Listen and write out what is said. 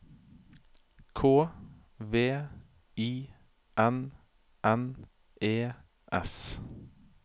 K V I N N E S